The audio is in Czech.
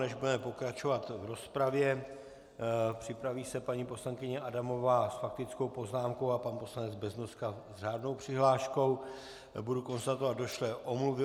Než budeme pokračovat v rozpravě - připraví se paní poslankyně Adamová s faktickou poznámkou a pan poslanec Beznoska s řádnou přihláškou - budu konstatovat došlé omluvy.